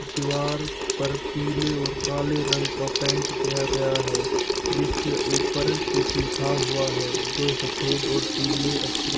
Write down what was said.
दीवार पर पीले और काले रंग का पेंट किया गया है जिसके ऊपर कुछ लिखा हुआ है जो सफेद और पीले अक्षर--